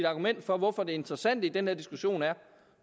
argument for hvorfor det interessante i den her diskussion er